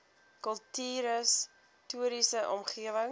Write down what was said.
kultuurhis toriese omgewing